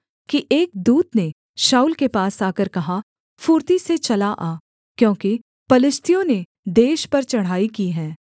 कि एक दूत ने शाऊल के पास आकर कहा फुर्ती से चला आ क्योंकि पलिश्तियों ने देश पर चढ़ाई की है